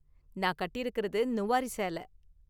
நான் கட்டியிருக்குறது நுவாரி சேல.